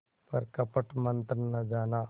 पर कपट मन्त्र न जाना